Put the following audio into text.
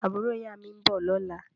Àbúrò ìyá mi ń bọ̀ lọ́la